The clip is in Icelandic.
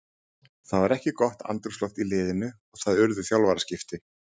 Það var ekki gott andrúmsloft í liðinu og það urðu þjálfaraskipti.